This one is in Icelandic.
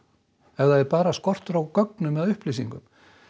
ef það er bara skortur á gögnum eða upplýsingum